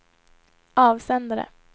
avsändare